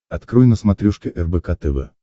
открой на смотрешке рбк тв